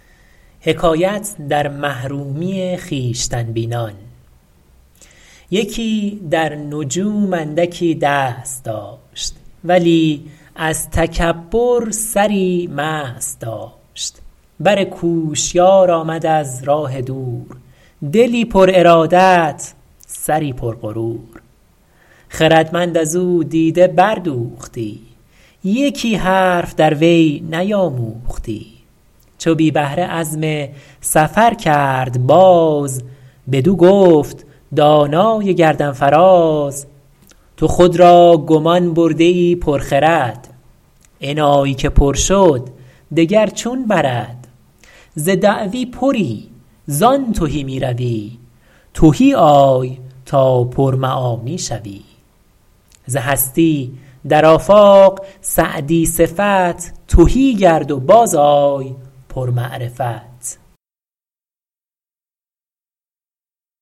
یکی در نجوم اندکی دست داشت ولی از تکبر سری مست داشت بر کوشیار آمد از راه دور دلی پر ارادت سری پر غرور خردمند از او دیده بردوختی یکی حرف در وی نیاموختی چو بی بهره عزم سفر کرد باز بدو گفت دانای گردن فراز تو خود را گمان برده ای پر خرد انایی که پر شد دگر چون برد ز دعوی پری زان تهی می روی تهی آی تا پر معانی شوی ز هستی در آفاق سعدی صفت تهی گرد و باز آی پر معرفت